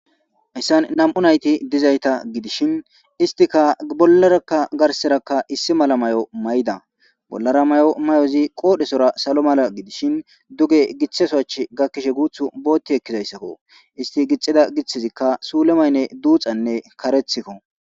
hessan nam7u nayti dizayta gidishin istika bollarakka garserakka issi mala may7o may7da bollara may7o may7ozi qoodhesora salo mala gidishin duge githasoach gakkishe guuth bootti ekkizayssakko isti gixxida giththizikka suule maynne duuxanne karethikko